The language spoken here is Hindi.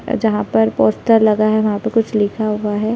अ जहाँ पर पोस्टर लगा हुआ है वहाँ पे कुछ लिखा हुआ हैं ।